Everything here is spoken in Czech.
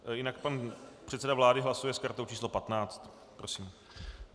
Jinak pan předseda vlády hlasuje s kartou číslo 15. Prosím.